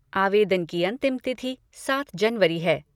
आवेदन की अंतिम तिथि सात जनवरी है।